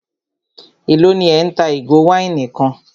Élò ní ẹ́ ń ta ìgò wáìnì kan?